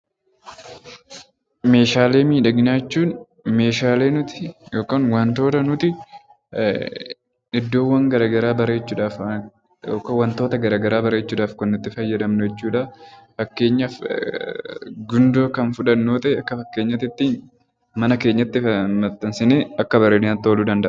Meeshaalee miidhaginaa jechuun Meeshaalee nuti yookaan waantota nuti iddoowwan garaagaraa bareechuudhaaf waantota garaagaraa bareechuudhaaf kan nuti itti fayyadamnu jechuudha. Fakkeenyaaf gundoo kan fudhannu akka fakkeenyaatti mana keenyatti maxxansanii bareedinaaf ta'uu danda'a.